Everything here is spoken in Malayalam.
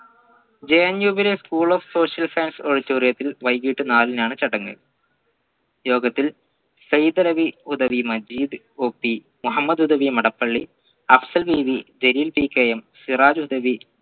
JNU ലെ school of social auditorium ത്തിൽ വൈകിട്ട് നാലിനാണ് ചടങ്ങ് യോഗത്തിൽ സൈതലവി ഹുദവി മജീദ് OP മുഹമ്മദ് ഹുദവി മടപ്പള്ളി അഫ്സൽ ബീവി ജലീൽ PK സിറാജ് ഹുദവി